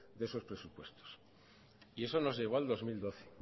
de sus presupuestos y eso nos llevó al dos mil doce